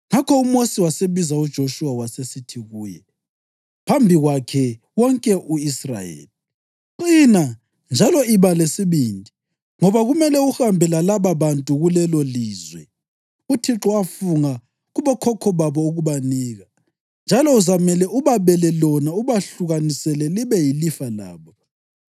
Ngakho uMosi wasebiza uJoshuwa wasesithi kuye phambi kwakhe wonke u-Israyeli, “Qina njalo iba lesibindi, ngoba kumele uhambe lalababantu kulelolizwe uThixo afunga kubokhokho babo ukubanika, njalo uzamele ubabele lona ubahlukanisele libe yilifa labo.